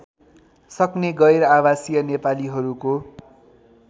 सक्ने गैरआवासीय नेपालीहरूको